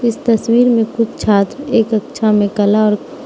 इस तस्वीर में कुछ छात्र एक कक्षा में कलर --